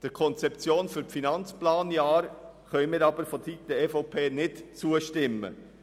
Der Konzeption für die Finanzplanjahre kann die EVP jedoch nicht zustimmen.